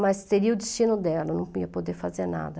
Mas seria o destino dela, eu nunca ia poder fazer nada.